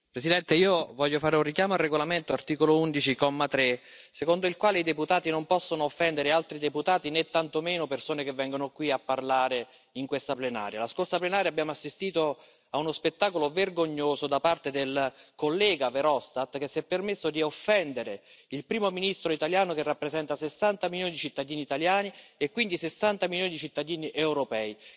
Signor Presidente, onorevoli colleghi, io voglio fare un richiamo al regolamento secondo l'articolo 11, paragrafo 3, i deputati non possono offendere altri deputati, né tantomeno persone che vengono qui a parlare in questa plenaria. La scorsa plenaria abbiamo assistito a uno spettacolo vergognoso da parte del collega Verhofstadt, che si è permesso di offendere il primo ministro italiano, che rappresenta 60 milioni di cittadini italiani e quindi 60 milioni di cittadini europei.